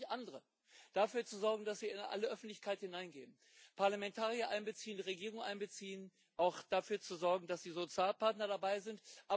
Genau das Gegenteil andere dafür zu sorgen, dass sie in aller Öffentlichkeit hineingehen, Parlamentarier einbeziehen, Regierungen einbeziehen, auch dafür zu sorgen, dass die Sozialpartner dabei sind.